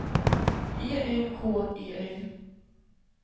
E N K E L